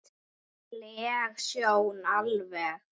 leg sjón alveg.